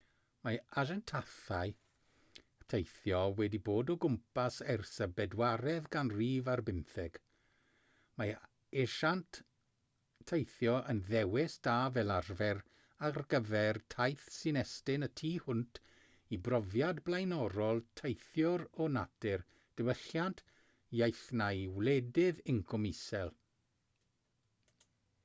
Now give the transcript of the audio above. mae asiantaethau teithio wedi bod o gwmpas ers y bedwaredd ganrif ar bymtheg mae asiant teithio yn ddewis da fel arfer ar gyfer taith sy'n estyn y tu hwnt i brofiad blaenorol teithiwr o natur diwylliant iaith neu wledydd incwm isel